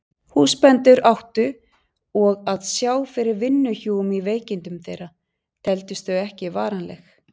Húsbændur áttu og að sjá fyrir vinnuhjúum í veikindum þeirra, teldust þau ekki varanleg.